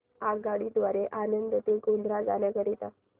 आगगाडी द्वारे आणंद ते गोध्रा जाण्या करीता